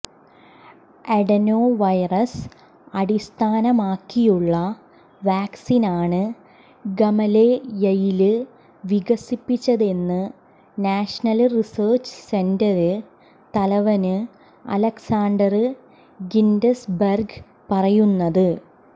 adenovirus അടിസ്ഥാനമാക്കിയുള്ള വാക്സീനാണ് ഗമലെയയില് വികസിപ്പിച്ചതെന്ന് നാഷനല് റിസര്ച് സെന്റര് തലവന് അലക്സാണ്ടര് ഗിന്റ്സ്ബര്ഗ് പറയുന്നത്